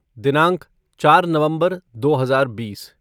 दिनांक चार नवंबर दो हज़ार बीस